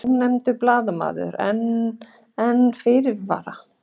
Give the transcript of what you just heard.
Ónefndur blaðamaður: En, en fyrirvara?